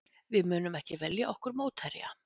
Við munum ekki velja okkur mótherja